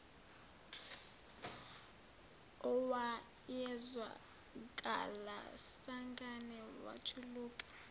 owayezwakala sangane wajuluka